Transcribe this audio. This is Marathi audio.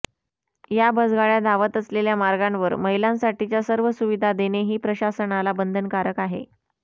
या बसगाड्या धावत असलेल्या मार्गांवर महिलांसाठीच्या सर्व सुविधा देणेही प्रशासनाला बंधनकारक आहे